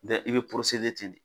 Mɛ i bɛ ten.